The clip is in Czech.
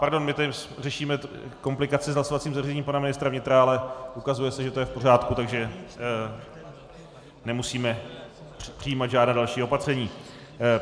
Pardon, my tady řešíme komplikaci s hlasovacím zařízením pana ministra vnitra, ale ukazuje se, že to je v pořádku, takže nemusíme přijímat žádná další opatření.